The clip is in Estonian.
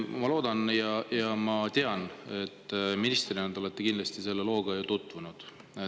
Ma loodan ja tean, et ministrina olete te kindlasti selle looga tutvunud.